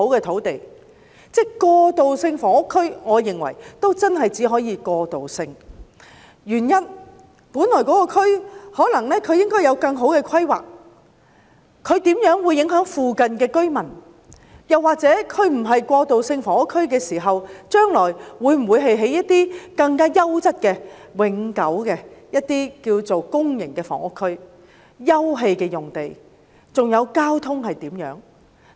我認為過渡性房屋區只可以屬過渡性，原因是那個地區本來可能有更好的規劃，或現正在某些方面影響附近居民，或者若非用來興建過渡性房屋，將來會否發展為更優質、永久的公營房屋區或休憩用地呢？